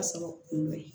Ka sɔrɔ kun bɛ yen